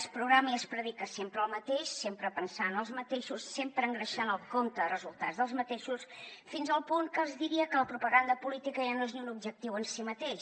es programa i es predica sempre el mateix sempre pensant en els mateixos sempre engreixant el compte de resultats dels mateixos fins al punt que els diria que la propaganda política ja no és ni un objectiu en si mateix